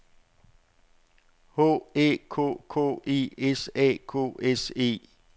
H Æ K K E S A K S E